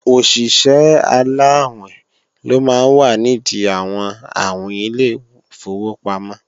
Òṣìṣẹ́ aláàwìn ló máa ń wà nìdí àwọn àwìn ilé ìfowópamọ́